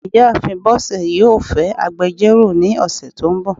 ìyáàfín bosé yọọ fẹ agbẹjọro ní osé to n bò.